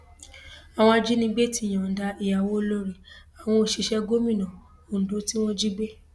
àwọn ajínigbé ti yọǹda ìyàwó olórí àwọn òṣìṣẹ gómìnà ondo tí wọn jí gbé